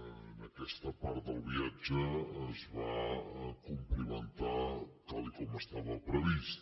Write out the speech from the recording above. en aquesta part del viatge es va complimentar tal com estava previst